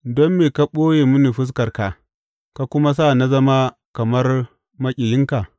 Don me ka ɓoye mini fuskarka; ka kuma sa na zama kamar maƙiyinka?